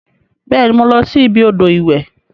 Beeni, mo losi ibi odo iwe.